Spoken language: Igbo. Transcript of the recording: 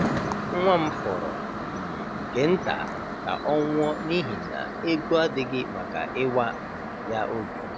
um Nwa m fọrọ um nke nta ka ọ nwụọ n’ihi na ego adịghị maka ịwa um ya obi.